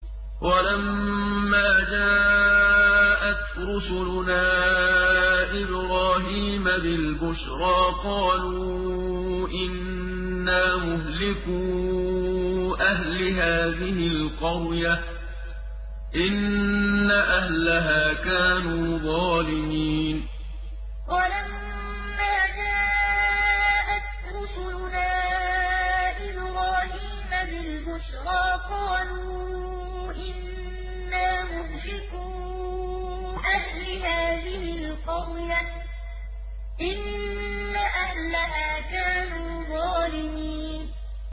وَلَمَّا جَاءَتْ رُسُلُنَا إِبْرَاهِيمَ بِالْبُشْرَىٰ قَالُوا إِنَّا مُهْلِكُو أَهْلِ هَٰذِهِ الْقَرْيَةِ ۖ إِنَّ أَهْلَهَا كَانُوا ظَالِمِينَ وَلَمَّا جَاءَتْ رُسُلُنَا إِبْرَاهِيمَ بِالْبُشْرَىٰ قَالُوا إِنَّا مُهْلِكُو أَهْلِ هَٰذِهِ الْقَرْيَةِ ۖ إِنَّ أَهْلَهَا كَانُوا ظَالِمِينَ